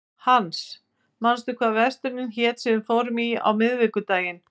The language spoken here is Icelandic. Hans, manstu hvað verslunin hét sem við fórum í á miðvikudaginn?